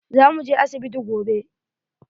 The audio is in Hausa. Za mu je asibiti gobe.